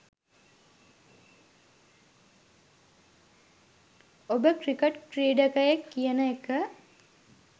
ඔබ ක්‍රිකට් ක්‍රීඩකයෙක් කියන එක